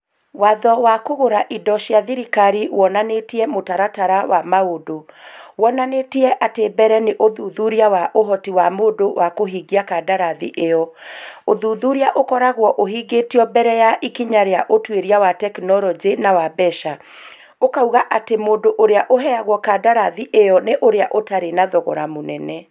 Watho wa kũgũra indo cia thirikari wonanĩtie mũtaratara wa maũndũ. Wonanĩtie atĩ mbere nĩ ũthuthuria wa ũhoti wa mũndũ wa kũhingia kandarathi ĩo. ũthuthuria ũkoragwo ũhingĩtio mbere ya ikinya rĩa ũtuĩria wa tekinoronjĩ na wa mbeca. Ikauga atĩ mũndũ ũrĩa ũheagwo kandarathi ĩyo nĩ ũrĩa ũtarĩ na thogora mũnene.